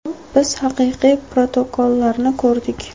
Biz haqiqiy protokollarni ko‘rdik.